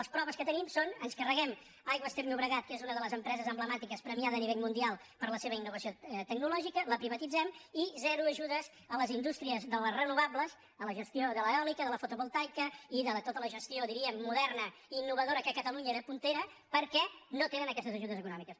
les proves que tenim són ens carreguem aigües ter llobregat que és una de les empreses emblemàti·ques premiada a nivell mundial per la seva innovació ecològica la privatitzem i zero ajudes a les indústries de les renovables a la gestió de l’eòlica de la fotovol·taica i de tota la gestió diríem moderna i innovadora que catalunya era puntera perquè no tenen aquestes ajudes econòmiques